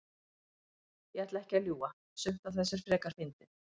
Ég ætla ekki að ljúga. sumt af þessu er frekar fyndið.